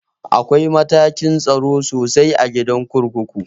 Akwai matakin tsaro sosai a gidan kurkuku